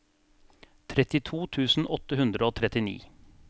trettito tusen åtte hundre og trettini